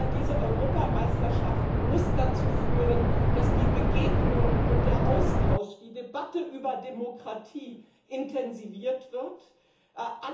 Diese Europameisterschaft muss dazu führen, dass die Begegnungen und der Austausch, die Debatte über Demokratie intensiviert werden.